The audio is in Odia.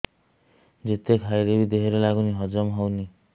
ଯେତେ ଖାଇଲେ ବି ଦେହରେ ଲାଗୁନି ହଜମ ହଉନି